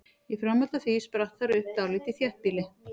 Í framhaldi af því spratt þar upp dálítið þéttbýli.